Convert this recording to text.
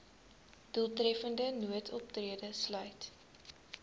doeltreffende noodoptrede sluit